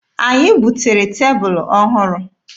Anyị butere tebụlụ ọhụrụ.